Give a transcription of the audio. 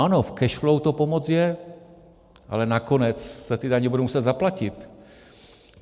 Ano, v cash flow to pomoc je, ale nakonec se daně budou muset zaplatit.